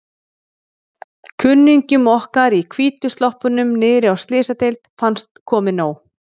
Kunningjum okkar í hvítu sloppunum niðri á Slysadeild fannst komið nóg.